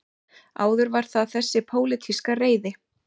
Áður var það þessi pólitíska reiði